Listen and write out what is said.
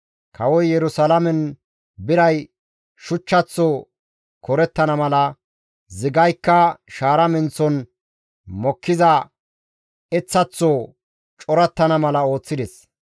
Kawoy Yerusalaamen biray shuchchaththo korettana mala, zigaykka shaara menththon mokkiza eththaththo corattana mala ooththides.